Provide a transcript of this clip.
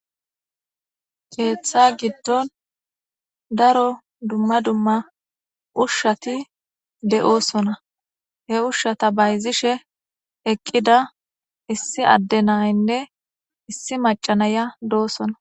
Keeththa giddon daro dumma dumma ushshati de'oosona he ushshata bayzishe eqqida issi addenaynne issi macanaya doosona.